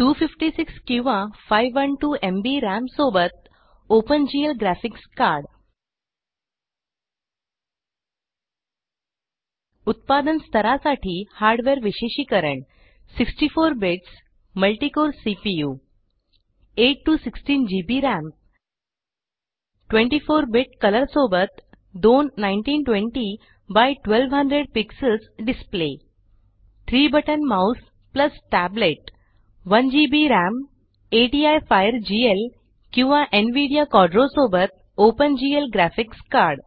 256 किंवा 512 MB RAM सोबत open GL graphics card उत्पादन स्तरासाठी हार्डवेअर विशेषिकरण 64 bits multi core CPU 8 16 GB RAM 24 bit colour सोबत दोन 1920 x 1200 PX display 3 button mouse tablet 1 GB RAM ATI FireGL किंवा Nvidia Quadro सोबत ओपन जीएल ग्राफिक्स कार्ड